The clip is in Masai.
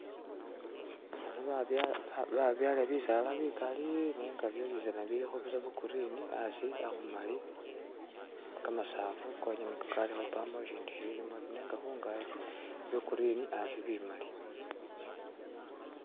Hano babyala eha babyala bisaala bikali nenga byosizana bilikho byagurini hasi hakumali kamasafu konyene niko kaliko pamo shishindu shishiimo ta nenga khungachi byogurine hasi bimali